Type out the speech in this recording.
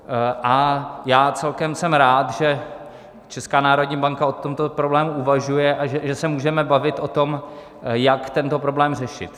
A já jsem celkem rád, že Česká národní banka o tomto problému uvažuje a že se můžeme bavit o tom, jak tento problém řešit.